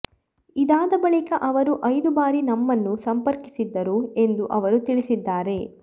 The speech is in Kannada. ಇದಾದ ಬಳಿಕ ಅವರು ಐದು ಬಾರಿ ನಮ್ಮನ್ನು ಸಂಪರ್ಕಿಸಿದ್ದರು ಎಂದು ಅವರು ತಿಳಿಸಿದ್ದಾರೆ